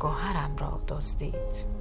گهرم را دزدید